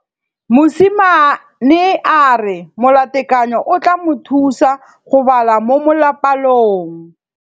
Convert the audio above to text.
Mosimane a re molatekanyô o tla mo thusa go bala mo molapalong.